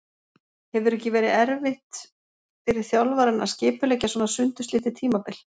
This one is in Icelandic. Hefur ekki verið erfitt fyrir þjálfarann að skipuleggja svona sundurslitið tímabil?